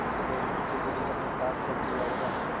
चुड़ैल ने उसे जरुर अपने पास रख लिया होगा